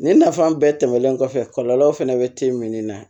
Nin nafa bɛɛ tɛmɛnen kɔfɛ kɔlɔlɔw fɛnɛ bɛ te min na